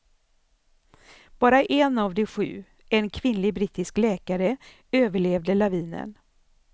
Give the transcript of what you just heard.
Bara en av de sju, en kvinnlig brittisk läkare, överlevde lavinen.